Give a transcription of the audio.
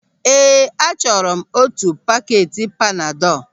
Ee, achọrọ m otu pakeeti panadọl.